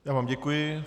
Já vám děkuji.